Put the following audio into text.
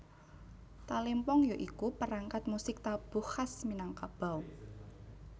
Talempong ya iku perangkat musik tabuh khas Minangkabau